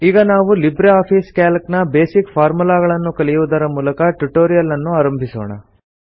ಈಗ ನಾವು LibreOffice Calc ನ ಬೇಸಿಕ್ ಫಾರ್ಮುಲಾಗಳನ್ನು ಕಲಿಯುವುದರ ಮೂಲಕ ಟ್ಯುಟೋರಿಯಲ್ ಅನ್ನು ಆರಂಭಿಸೋಣ